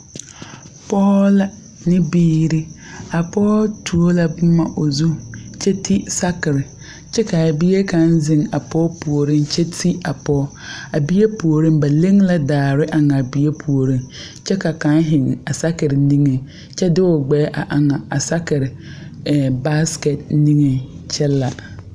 Pɔgɔ la ne biire. A pɔgɔ tuo la boma o zu kyɛ te sakir. Kyɛ ka a bie kang zeŋ a pɔgɔ pooreŋ kyɛ te a pɔgɔ. A bie pooreŋ ba leŋ la daare eŋ a bie pooreŋ kyɛ ka kang zeŋ a sakir niŋe kyɛ de o gbɛɛ eŋ a sakir ɛ baskɛt niŋe kyɛ la.